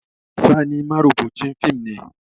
Sani marubucin fim ne